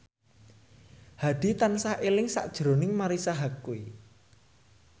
Hadi tansah eling sakjroning Marisa Haque